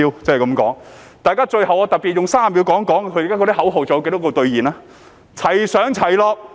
最後，我特別用30秒談談，他們的口號兌現了多少。